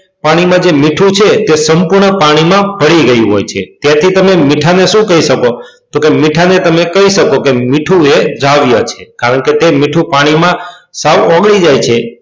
પાણીમાં જે મીઠું છે તે સંપૂર્ણ પાણીમાં ભળી ગયું હોય છે તેથી તમે મીઠાને શું કહી શકો તો કેમ મીઠાને તમે કહી શકો કે મીઠું એ દ્રાવ્ય છે કારણ કે તે મીઠું પાણીમાં સાવ ઓગળી જાય છે.